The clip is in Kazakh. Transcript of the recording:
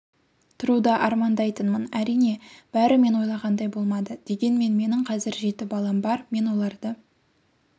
тұруды армандайтынмын әрине бәрі мен ойлағандай болмады дегенмен менің қазір жеті балам бар мен оларды